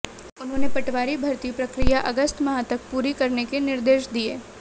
उन्होंने पटवारी भर्ती प्रक्रिया अगस्त माह तक पूरी करने के निर्देश दिये